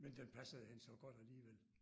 Men den passede hende så godt alligevel